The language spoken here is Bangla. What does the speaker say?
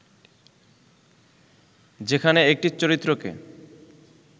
যেখানে একটি চরিত্রকে